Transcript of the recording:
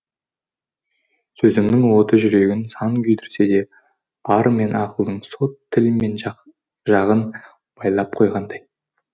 сезімнің оты жүрегін сан күйдірсе де ар мен ақылдың соты тіл мен жағын байлап қойғандай